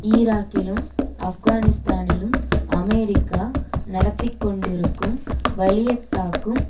ஈராக்கிலும் ஆப்கானிஸ்தானிலும் அமெரிக்கா நடத்தி கொண்டிருக்கும் வலியத்தாக்கும்